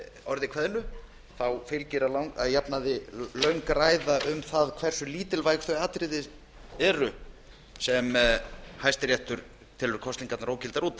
orði kveðnu fylgir að jafnaði löng ræða um það hversu lítilvæg þau atriði eru sem hæstiréttur telur kosningarnar ógildar út af